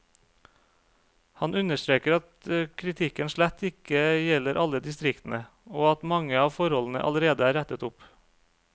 Han understreker at kritikken slett ikke gjelder alle distriktene, og at mange av forholdene allerede er rettet opp.